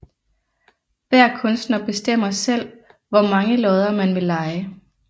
Hver kunstner bestemmer selv hvor mange lodder man vil leje